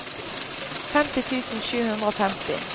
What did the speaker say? femti tusen sju hundre og femti